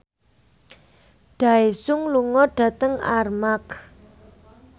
Daesung lunga dhateng Armargh